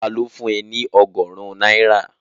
Ta ló fún ẹ ní ọgọ́rùn-ún náírà?